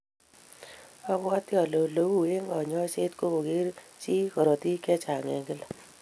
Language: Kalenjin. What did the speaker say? Abwoti ale ole ui eng' kanyoisyet ko koger chi korotik chechang' eng' gila.